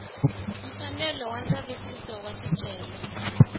mfanelo wa ndzavisiso wa swicelwa